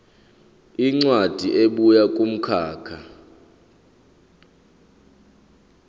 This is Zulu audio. incwadi ebuya kumkhakha